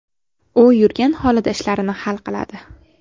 U yurgan holida ishlarini hal qiladi.